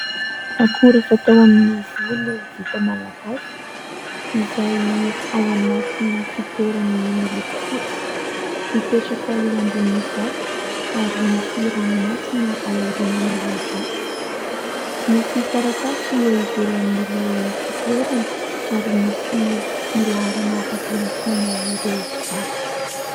Ankora fatao amin'ny volo vita malagasy izay ao anaty fitoeranay miloko fotsy. Mipetraka eo ambony vato ary misy ranomasina ao aorian'ilay vato. Misy taratasy eo ivelan'ilay fitoerany ary misy ny laharana afaka iantsoana ireo mpivarotra.